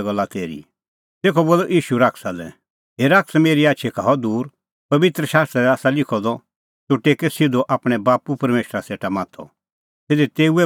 तेखअ बोलअ ईशू शैताना लै हे शैतान मेरी आछी का हअ दूर पबित्र शास्त्रा दी आसा लिखअ द तूह टेकै सिधअ आपणैं बाप्पू परमेशरा सेटा माथअ सिधी तेऊए ई भगती करै